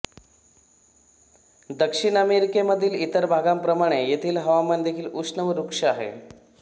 दक्षिण अमेरिकेमधील इतर भागांप्रमाणे येथील हवामान देखील उष्ण व रुक्ष आहे